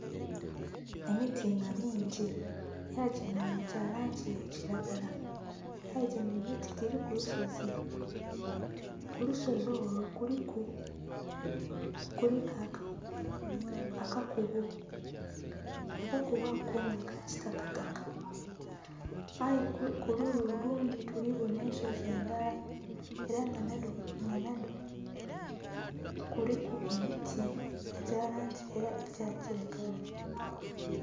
Emiti nga mingi aye gino nga gya langi ya kilagala aye gino emiti gili ku lusozi, ku lusozi olwo kuliku akakubo, akakubo ako nga ka kitakataka aye kuluyi olundhi tuli bona ensozi endhala ela nga nhadho kuliku emiti egya langi ela eya kilagala.